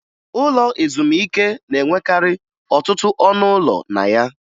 Ụlọ ezumike na-enwekarị ọtụtụ ọnụ ụlọ na ya